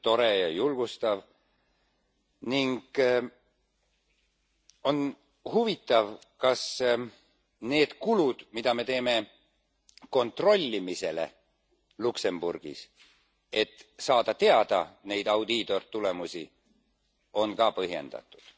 See on tore ja julgustav. Ning on huvitav, kas need kulud, mida me teeme kontrollimisele Luksemburgis, et saada teada neid audiitortulemusi, on ka põhjendatud.